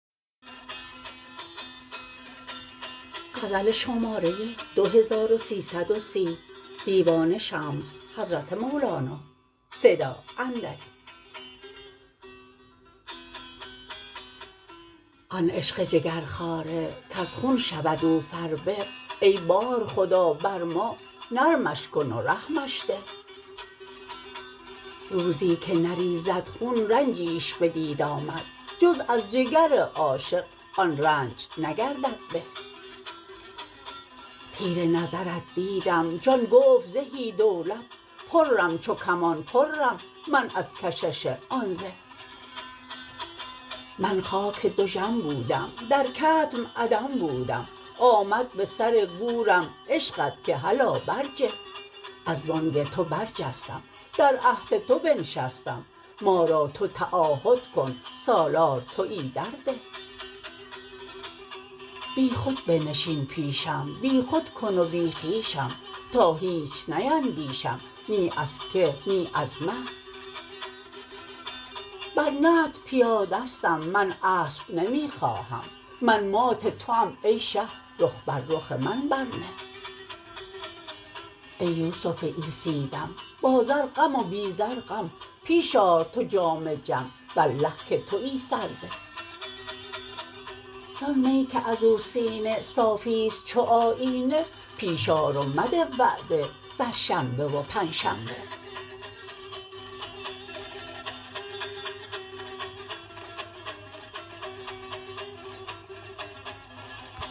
آن عشق جگرخواره کز خون شود او فربه ای بارخدا بر ما نرمش کن و رحمش ده روزی که نریزد خون رنجیش بدید آمد جز از جگر عاشق آن رنج نگردد به تیر نظرت دیدم جان گفت زهی دولت پرم چو کمان پرم من از کشش آن زه من خاک دژم بودم در کتم عدم بودم آمد به سر گورم عشقت که هلا برجه از بانگ تو برجستم در عهد تو بنشستم ما را تو تعاهد کن سالار توی در ده بیخود بنشین پیشم بیخود کن و بی خویشم تا هیچ نیندیشم نی از که نی از مه بر نطع پیادستم من اسپ نمی خواهم من مات توام ای شه رخ بر رخ من برنه ای یوسف عیسی دم با زر غم و بی زر غم پیش آر تو جام جم والله که توی سرده زان می که از او سینه صافی است چو آیینه پیش آر و مده وعده بر شنبه و پنجشنبه